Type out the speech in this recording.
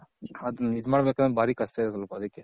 ಅದನ್ ಇದ್ ಮಾಡ್ ಬೇಕಂದ್ರೆ ಬಾರಿ ಕಷ್ಟ ಇದೆ ಸ್ವಲ್ಪ ಅದಕ್ಕೆ.